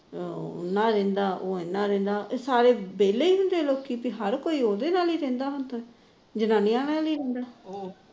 ਉਹ ਇਹਨਾ ਨਾਲ ਰਹਿੰਦਾ ਉਹ ਇਹਨਾ ਨਾਲ ਰਹਿੰਦਾ ਇਹ ਸਾਰੇ ਵਿਹਲੇ ਹੀ ਹੁੰਦੇ ਐ ਲੋਕੀ ਕਿ ਹਰ ਕੋਈ ਉਹਦੇ ਨਾਲ ਹੀ ਰਹਿੰਦਾ ਜਨਾਨੀਆ ਨਾਲ ਹੀ ਰਹਿੰਦਾ